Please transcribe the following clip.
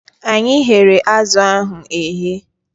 Anyị ghere azụ ahụ eghe